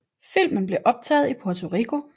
Filmen blev optaget i Puerto Rico